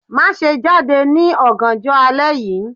Maṣe jade ni ọganjọ alẹ yii